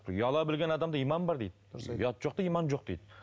ұяла білген адамда иман бар дейді ұяты жоқта иман жоқ дейді